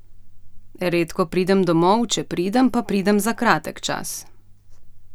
Redko pridem domov, če pridem, pa pridem za kratek čas.